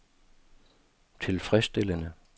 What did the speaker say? tilfredsstillende